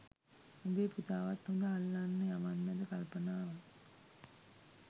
උඹේ පුතාවත් හඳ අල්ලන්න යවන්නද කල්පනාව